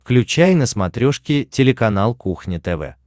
включай на смотрешке телеканал кухня тв